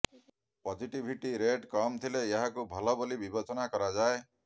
positivity rate କମ୍ ଥିଲେ ଏହାକୁ ଭଲ ବୋଲି ବିବେଚନା କରାଯାଏ